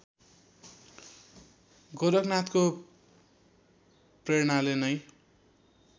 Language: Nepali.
गोरखनाथको प्रेरणाले नै